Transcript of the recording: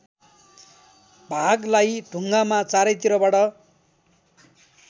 भागलाई ढुङ्गामा चारैतिरबाट